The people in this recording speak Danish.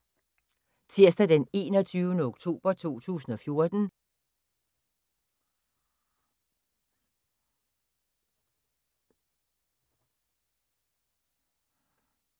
Tirsdag d. 21. oktober 2014